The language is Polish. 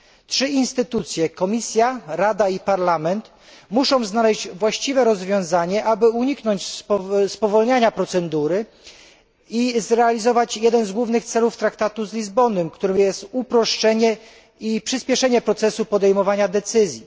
Trzy instytucje Komisja, Rada i Parlament muszą znaleźć właściwe rozwiązanie, aby uniknąć spowolniania procedury i zrealizować jeden z głównych celów traktatu z Lizbony, którym jest uproszczenie i przyspieszenie procesu podejmowania decyzji.